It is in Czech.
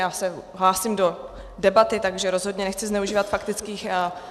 Já se hlásím do debaty, takže rozhodně nechci zneužívat faktických poznámek.